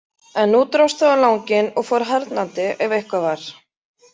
En nú dróst það á langinn og fór harðnandi ef eitthvað var.